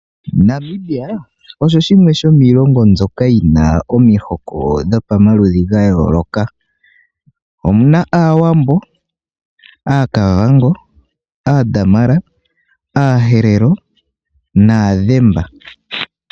Namibia osho shimwe shomiilongo mbyoka yi na omihoko dhomaludhi ga yooloka. Omu na Aawambo, Aakavango, Aaadamara, Aaherero nAadhimba.